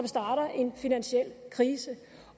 starter en finansiel krise